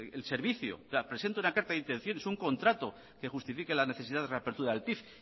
el servicio o sea presente una carta de intenciones un contrato que justifique la necesidad de reapertura del pif